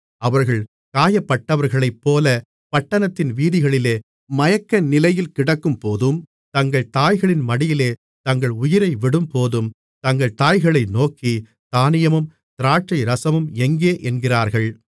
அவர்கள் காயப்பட்டவர்களைப்போல பட்டணத்தின் வீதிகளிலே மயக்கநிலையில் கிடக்கும்போதும் தங்கள் தாய்களின் மடியிலே தங்கள் உயிரை விடும்போதும் தங்கள் தாய்களை நோக்கி தானியமும் திராட்சைரசமும் எங்கே என்கிறார்கள்